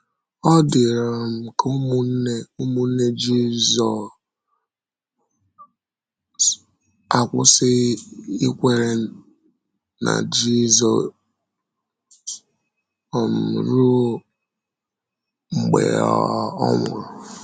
Ọ dị ka ụmụnne ụmụnne Jisù akwụsịghị ịkwèrè n’Jisù um ruo mgbe um ọ nwụrụ.